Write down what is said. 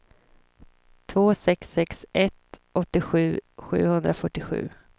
två sex sex ett åttiosju sjuhundrafyrtiosju